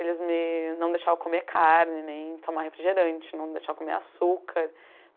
Eles me, não deixavam eu comer carne, nem tomar refrigerante, não deixavam eu comer açúcar.